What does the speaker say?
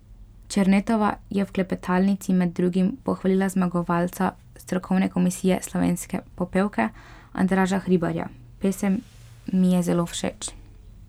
Černetova je v klepetalnici med drugim pohvalila zmagovalca strokovne komisije Slovenske popevke, Andraža Hribarja: 'Pesem mi je zelo všeč.